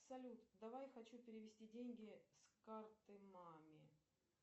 салют давай хочу перевести деньги с карты маме